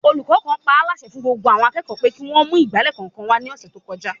Olùkọ́ kan paálásẹ fún gbogbo àwọn akẹ́kọ̀ọ́ pé kí wọ́n ó mú ìgbálẹ̀ kọ̀ọ̀kan wá ní ọ̀sẹ̀ tó kọjá